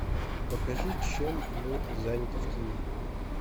покажи чем мы заняты в тени